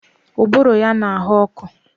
Ụbụrụ ya na-ahọ nkọ